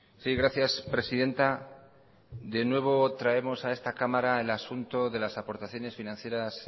sí gracias presidenta de nuevo traemos a esta cámara el asunto de las aportaciones financieras